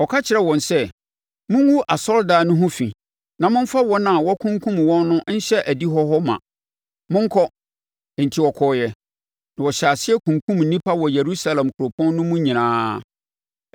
Ɔka kyerɛɛ wɔn sɛ, “Mongu asɔredan no ho fi na momfa wɔn a wɔakunkum wɔn no nhyɛ adihɔ hɔ ma. Monkɔ!” Enti wɔkɔɔeɛ, na wɔhyɛɛ aseɛ kunkumm nnipa wɔ Yerusalem kuropɔn no mu nyinaa.